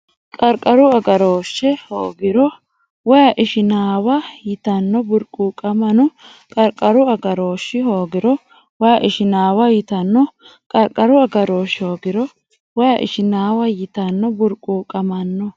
Qarqaru agarooshshi hoogiro way Ishinaawa yitanno burquuqamanno Qarqaru agarooshshi hoogiro way Ishinaawa yitanno Qarqaru agarooshshi hoogiro way Ishinaawa yitanno burquuqamanno.